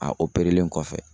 A operelen kɔfɛ.